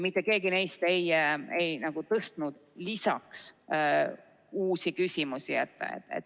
Mitte keegi neist ei tõstnud lisaks uusi küsimusi.